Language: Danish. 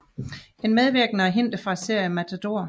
En medvirkende er hentet fra serien Matador